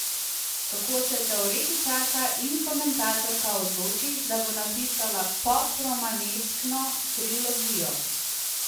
Kako se teoretičarka in komentatorka odloči, da bo napisala pop romaneskno trilogijo?